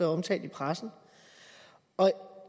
omtalt i pressen og